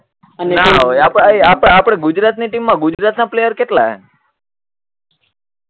નાં હોવે આપ આપે આપણી ગુજરાત ની ટીમ માં ગુજરાત ના પ્લેયર કેટલા હે